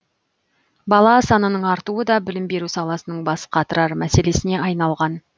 бала санының артуы да білім беру саласының бас қатырар мәселесіне айналған